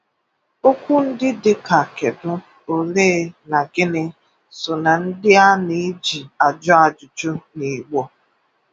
Okwu ndị dị ka “kedụ,” “olee,” na “gịnị” so na ndị a na-eji ajụ ajụjụ n'Igbo.